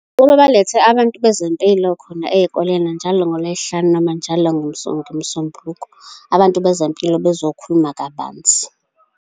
Ukuba balethe abantu bezempilo khona ey'koleni njalo ngoLwezihlanu, noma njalo ngeMsombuluko. Abantu bezempilo bezokhuluma kabanzi.